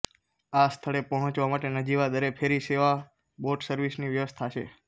આ સ્થળે પહોંચવા માટે નજીવા દરે ફેરી સેવાબોટ સર્વિસની વ્યવસ્થા છે